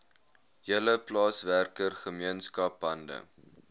hele plaaswerkergemeenskap hande